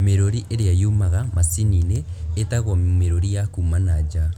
Mĩrũri ĩrĩa yumaga macini-inĩ ĩtagwo mĩrũri ya kuma na nja